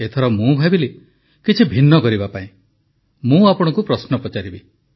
ଏଥର ମୁଁ ଭାବିଲି କିଛି ଭିନ୍ନ କରିବା ପାଇଁ ମୁଁ ଆପଣଙ୍କୁ ପ୍ରଶ୍ନ ପଚାରିବି